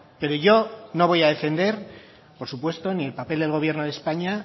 pero yo no voy a defender por supuesto ni el papel del gobierno de españa